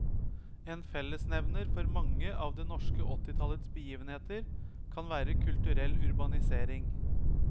En fellesnevner for mange av det norske åttitallets begivenheter kan være kulturell urbanisering.